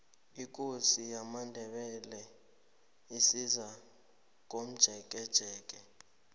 ikosi yamandebele izakomjekejeke